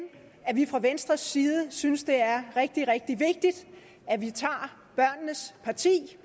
vi fra venstres side synes at det er rigtig rigtig vigtigt at vi tager børnenes parti